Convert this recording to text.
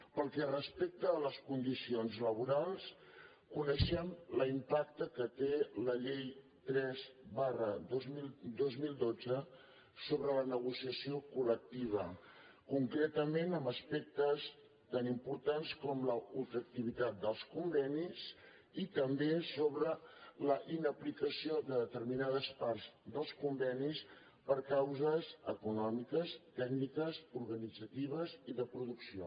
pel que respecta a les condicions laborals coneixem l’impacte que té la llei tres dos mil dotze sobre la negociació col·lec tiva concretament en aspectes tan importants com la ultra activitat dels convenis i també sobre la inaplicació de determinades parts dels convenis per causes econòmiques tècniques organitzatives i de producció